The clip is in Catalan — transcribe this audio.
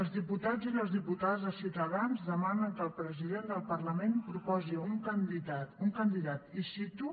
els diputats i les diputades de ciutadans demanen que el president del parlament proposi un candidat i cito